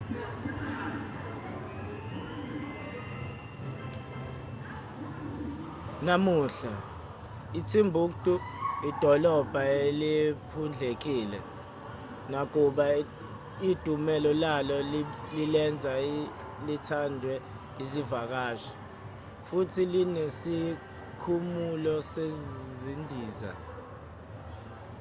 namuhla itimbuktu idolobha eliphundlekile nakuba idumela lalo lilenza lithandwe izivakashi futhi linesikhumulo sezindiza